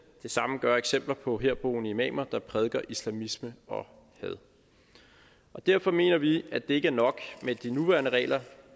det samme gør eksempler på herboende imamer der prædiker islamisme og had derfor mener vi at det ikke er nok med de nuværende regler